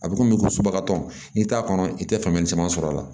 A bɛ komi ko suguba tɔn i t'a kɔnɔ i tɛ faamuyali caman sɔrɔ a la